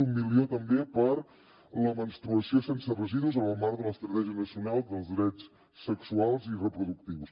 un milió també per a la menstruació sense residus en el marc de l’estratègia nacional dels drets sexuals i reproductius